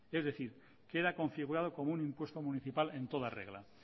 es decir queda configurado como un impuesto municipal en toda regla